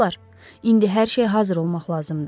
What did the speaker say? Dostlar, indi hər şey hazır olmaq lazımdır.